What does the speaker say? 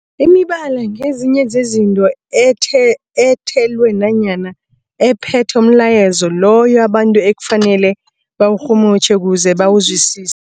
Imibala ngezinye zezinto ethe ethelwe nanyana ephethe umlayezo loyo abantu ekufanele bawurhumutjhe ukuze bawuzwisise.